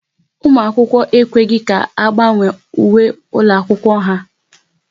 Ụmụ akwụkwọ ekweghị ka agbanwe uwe ụlọ akwụkwọ ha